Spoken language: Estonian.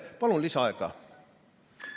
Palun lisaaega!